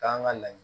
K'an ka laɲini